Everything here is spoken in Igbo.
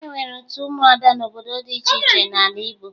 E nwere otu ụmụada n'obodo dị iche iche n'ala Igbo